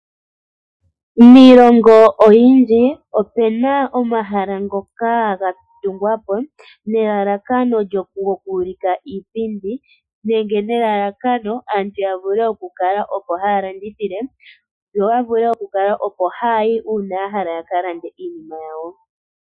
Miilongo oyindji opena omahala ngoka ga tungwapo nelalakano lyoku ulika iipindi, nenge nelalakano aantu ya vule oku kala opo haya landithile, yo ya vule oku kala oko haya yi uuna ya hala yaka lande iinima yawo.